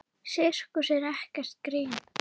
Sirkus er ekkert grín.